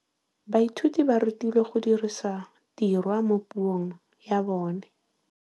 Baithuti ba rutilwe go dirisa tirwa mo puong ya bone.